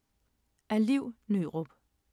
Af Liv Nørup